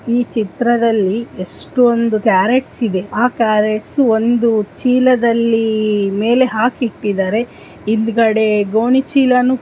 ಈ ಚಿಟದಲ್ಲಿ ಎಷ್ಟೊಂದು ಕ್ಯಾರ್ರೋಟ್ಸ್ ಇದೆ ಆ ಕ್ಯಾರ್ರೋಟ್ಸ್ ಒಂದು ಚೀಲದಲ್ಲಿ ಮೇಲೆ ಹಾಕಿಟ್ಟಿದ್ದಾರೆ ಹಿಂದ್ಗಡೆ ಗೋಣಿಚೀಲನೂ--